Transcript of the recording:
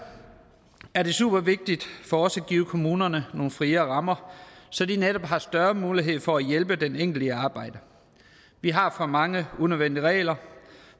er det super vigtigt for os at give kommunerne nogle friere rammer så de netop får større mulighed for at hjælpe den enkelte arbejde vi har for mange unødvendige regler